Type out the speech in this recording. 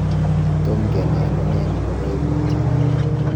Tom kenai amune nebo koimutioni.